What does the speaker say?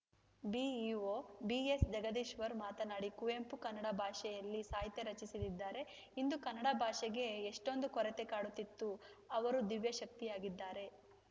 BEO ಬಿಎಸ್‌ಜಗದೀಶ್ವರ ಮಾತನಾಡಿ ಕುವೆಂಪು ಕನ್ನಡ ಭಾಷೆಯಲ್ಲಿ ಸಾಹಿತ್ಯ ರಚಿಸದಿದ್ದರೆ ಇಂದು ಕನ್ನಡ ಭಾಷೆಗೆ ಎಷ್ಟೊಂದು ಕೊರತೆ ಕಾಡುತ್ತಿತ್ತು ಅವರು ದಿವ್ಯಶಕ್ತಿಯಾಗಿದ್ದಾರೆ